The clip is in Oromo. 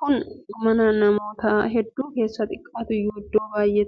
kun mana namoota hedduu keessaa xiqqaatuyyuu iddoo baay'eetti argama.